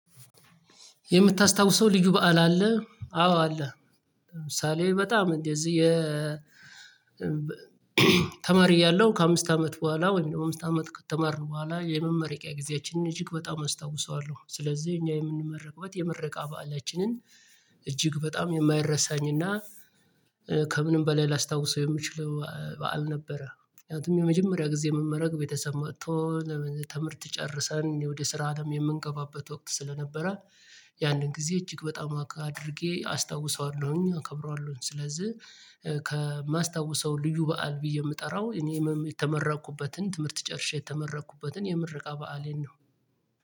የምታስታውሰው ልዩ በዓል አለ አዎ አለ። ለምሳሌ በጣም እንዴ? እዚህ የ ተማሪ እያለሁ ከአምስት አመት በኋላ ወይም ደግሞ አምስት አመት ከተማርን በኋላ የመመረቂያ ጊዜያችንን እጅግ በጣም አስታውሰዋለሁ። ስለዚህ እኛ የምንመረቅበት የመረቃ በዓላችንን እጅግ በጣም የማይረሳኝና ከምንም በላይ ላስታውሰው የምችለው በዓል ነበረ። ምክንያቱም የመጀመሪያ ጊዜ መመረቅ ቤተሰብ መቶ ትምህርት ጨርሰን ወደ ስራ አለም የምንገባበት ወቅት ስለነበረ ያንን ጊዜ እጅግ በጣም አድርጌ አስታውሰዋለሁኝ አከብራለሁኝ። ስለዚህ ከማስታውሰው ልዩ በዓል ብዬ የምጠራው እኔ ህመም የተመራኩበትን ትምህርት ጨርሼ የተመራኩበትን የምርቃ በዓሌን ነው